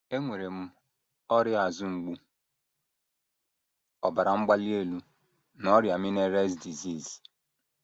“ Enwere m ọrịa azụ mgbu, ọbara mgbali elu, na ọrịa Meniere’s disease.